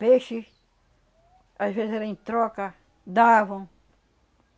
Peixe, às vezes era em troca, davam.